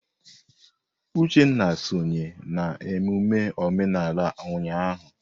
Uchenna sonye na emume omenala ụnyahụ.